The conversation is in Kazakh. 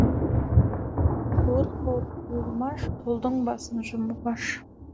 қуыр қуыр қуырмаш қолдың басын жұмып аш